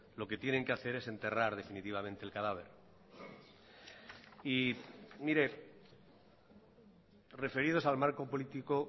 lo que tienen que hacer es enterrar definitivamente el cadáver y mire referidos al marco político